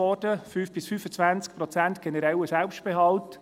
5–25 Prozent generellen Selbstbehalt.